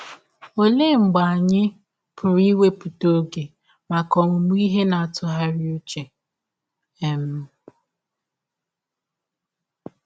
Ọlee mgbe anyị pụrụ iwepụta ọge maka ọmụmụ ihe na ntụgharị ụche? um